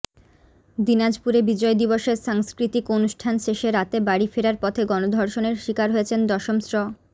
দিনাজপুরে বিজয় দিবসের সাংস্কৃতিক অনুষ্ঠান শেষে রাতে বাড়ি ফেরার পথে গণধর্ষণের শিকার হয়েছেন দশম শ্র